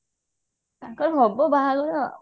ତାଙ୍କର ହବ ବାହାଘର ଆଉ